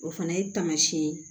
O fana ye taamasiyɛn ye